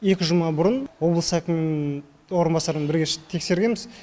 екі жұма бұрын облыс әкімінің орынбасарымен бірге шығып тексергенбіз